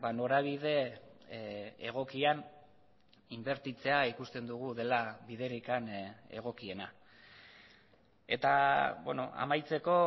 norabide egokian inbertitzea ikusten dugu dela biderik egokiena eta amaitzeko